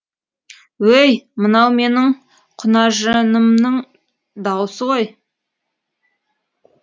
өй мынау менің құнажынымның даусы ғой